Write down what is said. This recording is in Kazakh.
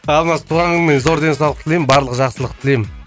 алмас туған күніңмен зор денсаулық тілеймін барлық жақсылықты тілеймін